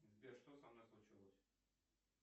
сбер что со мной случилось